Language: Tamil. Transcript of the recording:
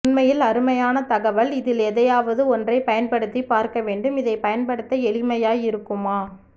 உண்மையில் அருமையான தகவல் இதில் எதையாவது ஒன்றை பயன்படுத்தி பார்க்க வேண்டும் இதை பயன்படுத்த எளிமையாய் இருக்குமா